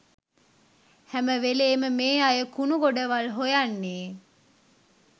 හැම වෙලේම මේ අය කුණු ගොඩවල් හොයන්නේ